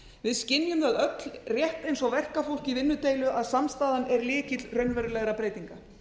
við skynjum það öll rétt eins og verkafólk í vinnudeilu að samstaðan er lykill raunverulegra breytinga